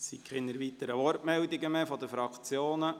Es gibt keine weiteren Wortmeldungen mehr seitens der Fraktionen.